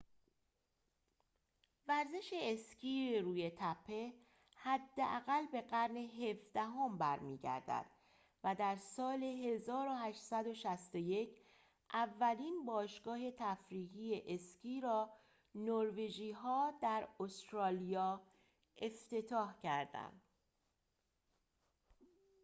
ورزش اسکی روی تپه حداقل به قرن ۱۷ ام برمی‌گردد و در سال ۱۸۶۱ اولین باشگاه تفریحی اسکی را نروژی‌ها در استرالیا افتتاح کردند